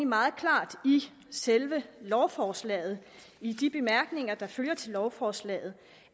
meget klart i selve lovforslaget i de bemærkninger der følger i lovforslaget